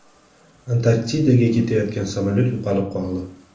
Antarktidaga ketayotgan samolyot yo‘qolib qoldi.